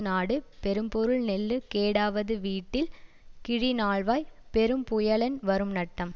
நாடு பெரும்பொருள் நெல்லு கேடாவது விட்டில் கிளி நால்வாய் பெரும் புயலென் வரும்நட்டம்